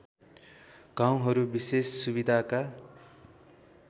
गाउँहरू विशेष सुविधाका